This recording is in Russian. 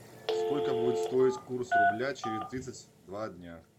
сколько будет стоить курс рубля через тридцать два дня